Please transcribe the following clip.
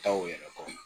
Taa o yɛrɛ kɔnɔ